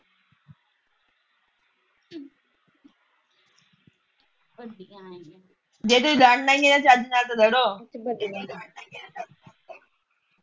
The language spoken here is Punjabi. ਜੇ ਤੁਸੀ ਲੜਨਾ ਈਆ ਤੇ ਚੱਜ ਨਾਲ ਤਾ ਲੜੋ